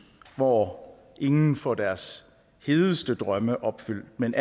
hvor ingen får deres hedeste drømme opfyldt men